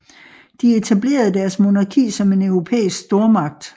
De etablerede deres monarki som en europæisk stormagt